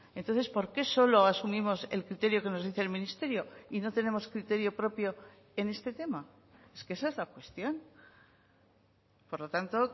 entonces por qué solo asumimos el criterio que nos dice el ministerio y no tenemos criterio propio en este tema es que esa es la cuestión por lo tanto